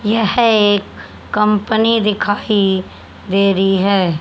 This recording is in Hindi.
यह एक कंपनी दिखाइ दे रही है।